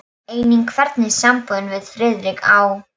Einnig hvernig sambúðin við Friðrik á